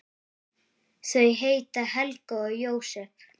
Þau heita Helga og Jósep.